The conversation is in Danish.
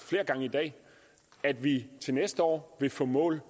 flere gange i dag at vi til næste år vil få mål